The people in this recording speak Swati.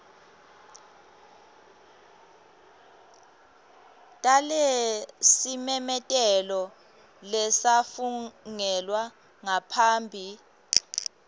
talesimemetelo lesafungelwa ngaphambi